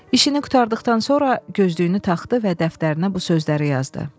İşini qurtardıqdan sonra gözdüyünü taxdı və dəftərinə bu sözləri yazdı.